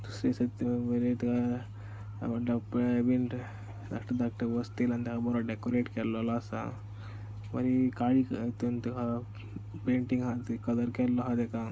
धाकटो धाकटो डेकोरेट केल्लो हा पेंटिंग हा कलर केल्लो हा तेका.